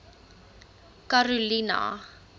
karolina